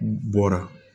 Bɔra